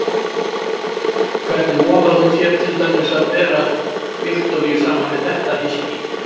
Hvernig vogaði hún sér til dæmis að bera Viktoríu saman við þetta hyski?